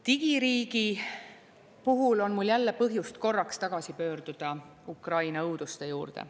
Digiriigi puhul on mul jälle põhjust korraks tagasi pöörduda Ukraina õuduste juurde.